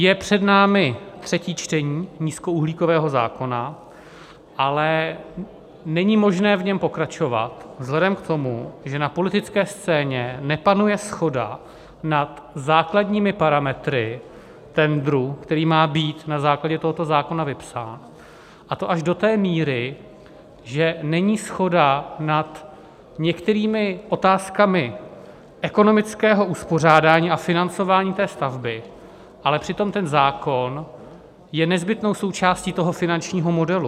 Je před námi třetí čtení nízkouhlíkového zákona, ale není možné v něm pokračovat vzhledem k tomu, že na politické scéně nepanuje shoda nad základními parametry tendru, který má být na základě tohoto zákona vypsán, a to až do té míry, že není shoda nad některými otázkami ekonomického uspořádání a financování té stavby, ale přitom ten zákon je nezbytnou součástí toho finančního modelu.